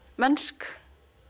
mennsk